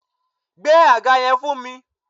Gbé àga yan fún mi